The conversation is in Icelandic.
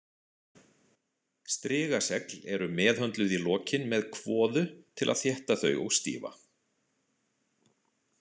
Strigasegl eru meðhöndluð í lokin með kvoðu til að þétta þau og stífa.